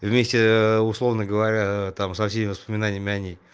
вместе ээ условно говоря ээ там со всеми воспоминаниями о ней